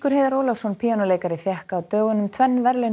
Heiðar Ólafsson píanóleikari fékk á dögunum tvenn verðlaun